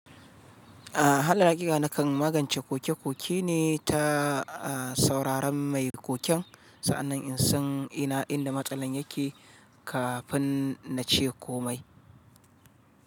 Ah hala, hakika nakan magance koke-koke ne ta sauraron mai koken. Sa'annan in san ina inda matsalan yake kafin na ce komai.